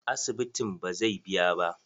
Asibitin bazai biya ba.